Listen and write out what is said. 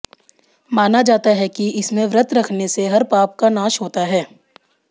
माना जाता है कि इसमें व्रत रखने से हर पाप का नाश होता है